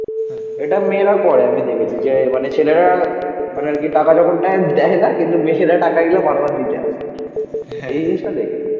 এটা মেয়েরা করে. আমি দেখেছি. যে মানে ছেলেরা মানে আর কি টাকা যখন নেয় দেয় না. কিন্তু মেয়েরা টাকা নিলে বারবার দিতে আসে এই জিনিসটা দেখেছি